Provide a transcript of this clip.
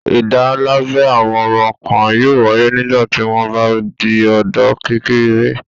Ìdálábẹ àwọn ọmọ kan yóò wáyé nígbà tí wọ́n bá di ọ̀dọ́-kékeré